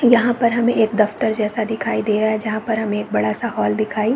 यहाँ पर हमे एक दफ्तर जैसा दिखाई दे रहा है जहाँ पर हमे एक बड़ा सा हॉल दिखाई --